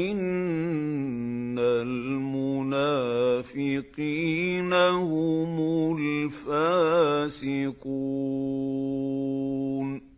إِنَّ الْمُنَافِقِينَ هُمُ الْفَاسِقُونَ